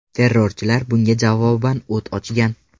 Terrorchilar bunga javoban o‘t ochgan.